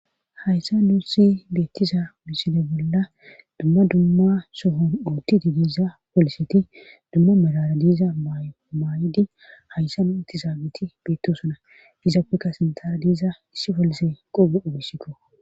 Hayssa nuu si beettiza iside bolla dumma dumma sohon uottidi diiza poliseti dumma milara diiza maay7idi hayssa nu ittizaabeti beettosuna izapfekka sintara diiza issi polise qoge obisikko.